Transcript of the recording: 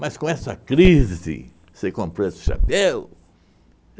Mas com essa crise, você comprou esse chapéu?